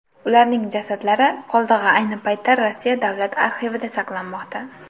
Ularning jasadlari qoldig‘i ayni paytda Rossiya davlat arxivida saqlanmoqda.